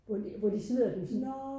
Hvor de hvor de smider dem sådan